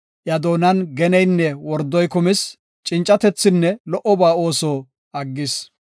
Iya doonan geneynne wordoy kumis; Cincatethinne lo77oba ooso aggis.